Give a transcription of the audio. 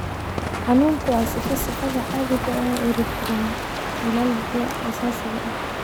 Xanuunku waa sifo sifada caadiga ah ee erythromelalgia aasaasiga ah.